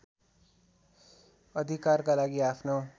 अधिकारका लागि आफ्नो